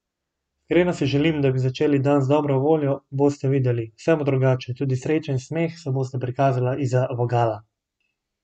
Iskreno si želim, da bi začeli dan z dobro voljo, boste videli, vse bo drugače, tudi sreča in smeh se bosta prikazala izza vogala!